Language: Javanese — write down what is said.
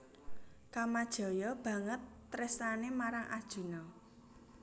Kamajaya banget tresnané marang Arjuna